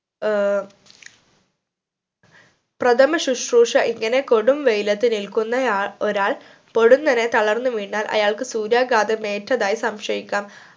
ഏർ പ്രഥമ ശ്രുശുഷ ഇങ്ങനെ കൊടും വെയിലത്ത് നിൽക്കുന്ന ആൾ ഒരാൾ പൊടുന്നനെ തളർന്നു വീണാൽ അയാൾക്ക് സൂര്യഘാതം ഏറ്റതായി സംശയിക്കാം